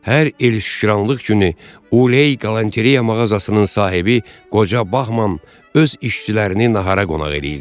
Hər il Şükranlıq günü Uley Qalenteya mağazasının sahibi qoca Bahman öz işçilərini nahara qonaq eləyirdi.